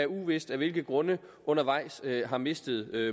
uvist af hvilke grunde undervejs har mistet